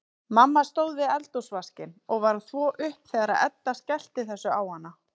Mamma stóð við eldhúsvaskinn og var að þvo upp þegar Edda skellti þessu á hana.